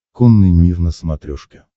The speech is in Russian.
конный мир на смотрешке